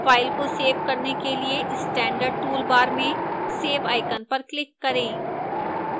file को save करने के लिए standard toolbar में save icon पर click करें